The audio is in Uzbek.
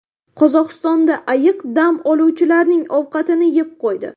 Qozog‘istonda ayiq dam oluvchilarning ovqatini yeb qo‘ydi .